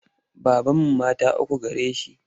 Babanmu mata uku gare shi.